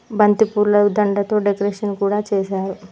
బంతిపూల దండతో డెకరేషన్ కూడా చేశారు.